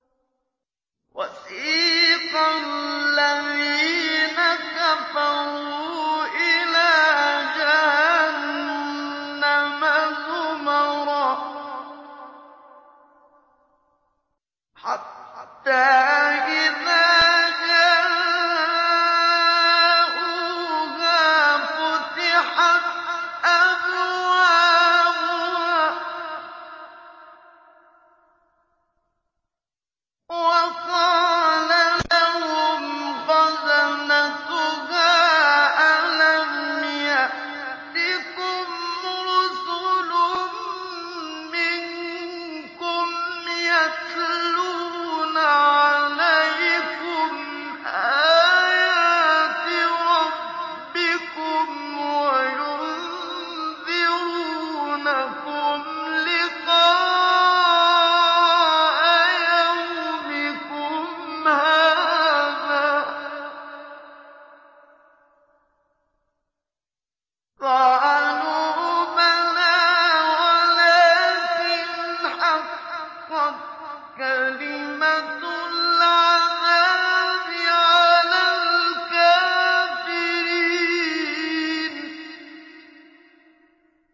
وَسِيقَ الَّذِينَ كَفَرُوا إِلَىٰ جَهَنَّمَ زُمَرًا ۖ حَتَّىٰ إِذَا جَاءُوهَا فُتِحَتْ أَبْوَابُهَا وَقَالَ لَهُمْ خَزَنَتُهَا أَلَمْ يَأْتِكُمْ رُسُلٌ مِّنكُمْ يَتْلُونَ عَلَيْكُمْ آيَاتِ رَبِّكُمْ وَيُنذِرُونَكُمْ لِقَاءَ يَوْمِكُمْ هَٰذَا ۚ قَالُوا بَلَىٰ وَلَٰكِنْ حَقَّتْ كَلِمَةُ الْعَذَابِ عَلَى الْكَافِرِينَ